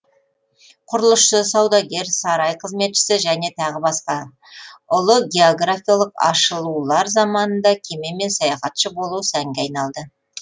құрылысшы саудагер сарай қызметшісі және тағы басқа ұлы географиялық ашылулар заманында кемемен саяхатшы болу сәнге айналды